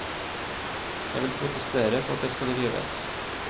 Jeg vil protestere på at det skal rives.